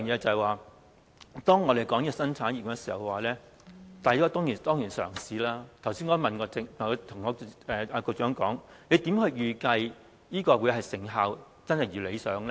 此外，當我們說新產業的時候，這當然是一種嘗試，我剛才也問局長，如何預計成效可以一如理想呢？